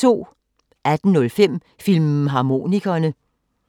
18:05: Filmharmonikerne